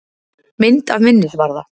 Mynd af minnisvarða.